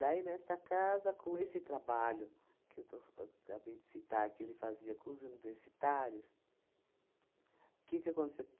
Daí, nesta casa, com esse trabalho que eu estou f a acabei de citar, que ele fazia com os universitários, o que que acontecia?